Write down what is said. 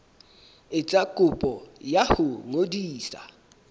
etsa kopo ya ho ngodisa